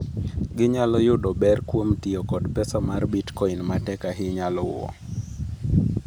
Ginyalo yudo ber kuom tiyo kod pesa mar Bitcoin ma tek ahinya luwo.